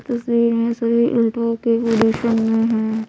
तस्वीर में सभी यसडुओ के ओलुसं में है ।